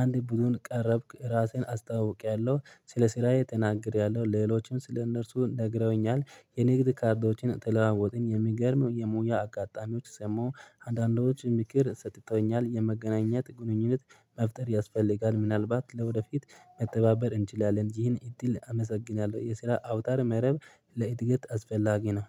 አንድ ቡድን ቀረብኩ። ራሴን አስተዋውቄያለሁ። ስለ ስራዬ ተናግሬያለሁ። ሌሎችም ስለ እነርሱ ነግረውኛል። የንግድ ካርዶችን ተለዋወጥን። የሚገርም የሙያ አጋጣሚዎች ሰማው። አንዳንዶች ምክር ሰጥተውኛል። የመገናኘት ግንኙነት መፍጠር ያስፈልጋል። ምናልባት ለወደፊት መተባበር እንችላለን። ይህን እድል አመሰግናለሁ የስራ አውታር መረብ ለእድገት አስፈላጊ ነው።